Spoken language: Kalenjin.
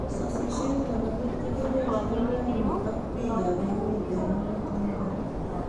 Sasishet nebo let ko kebaishe rainik ab piik ab emet eng' oret ne makaran